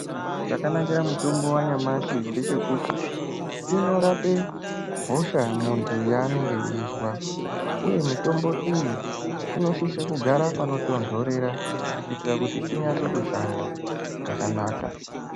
Chakanakira mutombo wanyamashi ndechekuti inorapa hosha muntu yavanenge eizwa iye mitombo iyi inosisa kugara panotonhorera kuitira kuti inyatsoshanda zvakanaka.